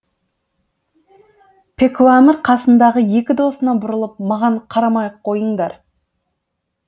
пекуамір қасындағы екі досына бұрылып маған қарамай ақ қойыңдар